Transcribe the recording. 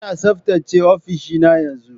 Ina tsaftace ofishina yanzu.